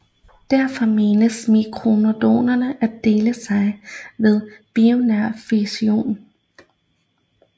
Derfor menes mitokondrier at dele sig ved binær fission